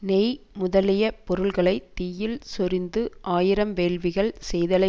நெய் முதலியப் பொருள்களை தீயில் சொரிந்து ஆயிரம் வேள்விகள் செய்தலை